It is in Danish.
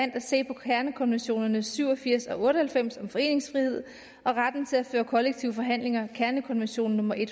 at se på kernekonventionerne nummer syv og firs og otte og halvfems om foreningsfrihed og retten til at føre kollektive forhandlinger kernekonvention nummer en